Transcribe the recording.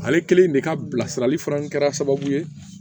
Ale kelen de ka bilasirali fana kɛra sababu ye